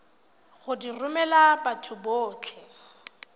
go di romela batho botlhe